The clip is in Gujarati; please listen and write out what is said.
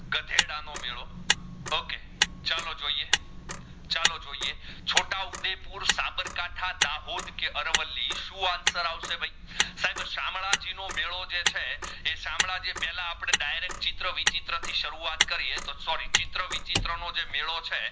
છોટા ઉદયપુર સબાકાઠા દાહોદ કે અરવલ્લી શું answer અવસે ભાઈ સાહેબ આ સામડાજી નો મેડો જે છે એ સામડાજી પેહલા direct ચિત્ર વિચિત્ર થી સરુવત કર્યે તો સોરી ચિત્ર વિચિત્ર નો જે મેડો છે